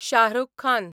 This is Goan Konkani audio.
शाह रूख खान